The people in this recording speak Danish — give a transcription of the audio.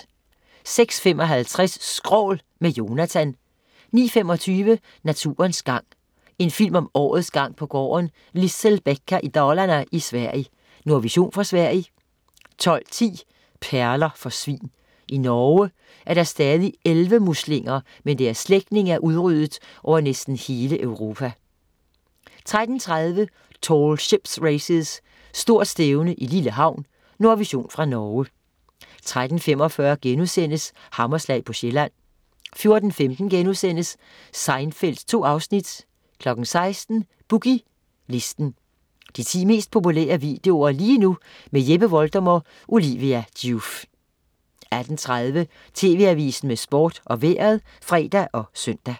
06.55 Skrål, med Jonatan 09.25 Naturens gang. En film om årets gang på gården Lisselbäcka i Dalarne i Sverige. Nordvision fra Sverige 12.10 Perler for svin. I Norge er der stadig elvemuslinger, mens deres slægtninge er udryddet over næsten hele Europa 13.30 Tall Ships Races, stort stævne i lille havn. Nordvision fra Norge 13.45 Hammerslag på Sjælland* 14.15 Seinfeld 2 afsnit* 16.00 Boogie Listen. De 10 mest populære videoer lige nu. Jeppe Voldum og Olivia Joof 18.30 TV Avisen med Sport og Vejret (fre og søn)